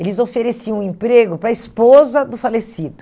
Eles ofereciam um emprego para a esposa do falecido.